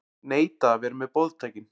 Neita að vera með boðtækin